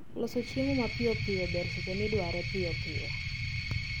Loso chiemo mapiyopiyo ber seche midware piyopiyo